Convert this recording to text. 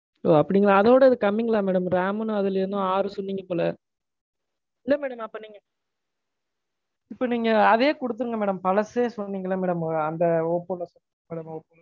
ஒ அப்படிங்களா? அதோட இது கம்மிங்களா madam? ram என்னவோ அதுல ஆறு சொன்னீங்க போல. இல்ல madam. அப்ப நீங்க, அப்ப நீங்க அதே குடுத்துருங்க madam. பழசே சொன்னீங்கல madam. அந்த ஒப்போல